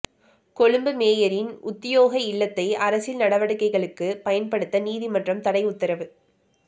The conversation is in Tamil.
கொழும்பு மேயரின் உத்தியோக இல்லத்தை அரசியல் நடவடிக்கைளுக்கு பயன்படுத்த நீதிமன்றம் தடைஉத்தரவு